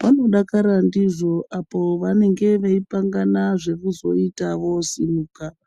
vanodakara ndizvo apo vanenge veipangana zvekuzoita vosimuka.